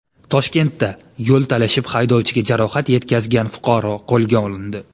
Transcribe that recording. Toshkentda yo‘l talashib, haydovchiga jarohat yetkazgan fuqaro qo‘lga olindi.